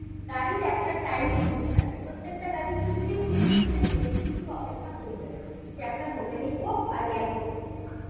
গাড়ির একটা time limit থাকে প্রত্যেকটা গাড়ি ফিফটিন minutes এর বেশি কিন্তু অপেক্ষা করবে না সে আপনার hotel এই হোক আর airport এ হোক